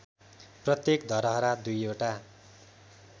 प्रत्येक धरहरा दुईवटा